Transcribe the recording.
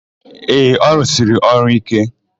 Ee, ọ rụsiri ọrụ íké.